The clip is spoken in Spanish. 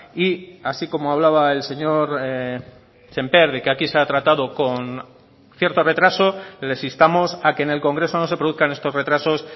y así como hablaba el señor sémper de que aquí se ha tratado con cierto retraso les instamos a que en el congreso no se produzcan estos retrasos